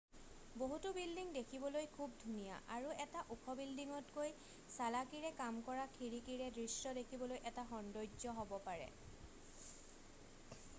বহুতো বিল্ডিং দেখিবলৈ খুব ধুনীয়া আৰু এটা ওখ বিল্ডিংতকৈ চালাকিৰে কাম কৰা খিৰিকীৰে দৃশ্য দেখিবলৈ এটা সৌন্দৰ্য হ'ব পাৰে